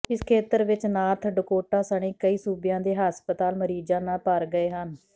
ਇਸ ਖੇਤਰ ਵਿਚ ਨਾਰਥ ਡਕੋਟਾ ਸਣੇ ਕਈ ਸੂਬਿਆਂ ਦੇ ਹਸਪਤਾਲ ਮਰੀਜ਼ਾਂ ਨਾਲ ਭਰ ਗਏ ਹਨ